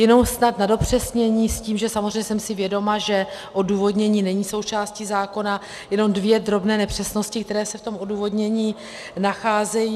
Jenom snad na dopřesnění s tím, že samozřejmě jsem si vědoma, že odůvodnění není součástí zákona, jenom dvě drobné nepřesnosti, které se v tom odůvodnění nacházejí.